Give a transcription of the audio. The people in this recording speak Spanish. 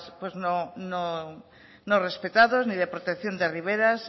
no respetados ni de protección de riveras